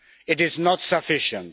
It is not sufficient.